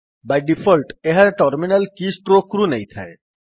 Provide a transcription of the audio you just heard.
Bai default ଏହା terminal keystroke ରୁ ନେଇଥାଏ